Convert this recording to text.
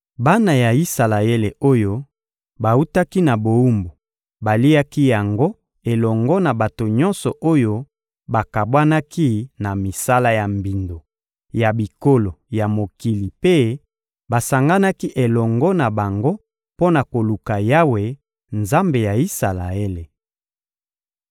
Bana ya Isalaele oyo bawutaki na bowumbu baliaki yango elongo na bato nyonso oyo bakabwanaki na misala ya mbindo ya bikolo ya mokili mpe basanganaki elongo na bango mpo na koluka Yawe, Nzambe ya Isalaele.